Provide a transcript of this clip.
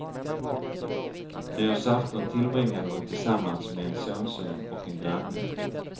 Nyårsafton tillbringade hon tillsammans med en sonson och en granne.